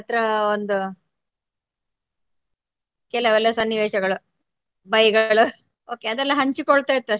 ಹತ್ರ ಒಂದು ಕೆಲೆವೆಲ್ಲ ಸನ್ನಿವೇಶಗಳು ಬೈಗಳು okay ಅದೆಲ್ಲ ಹಂಚಿಕೊಳ್ತಾಯಿತ್ತು ಅಷ್ಟೇ.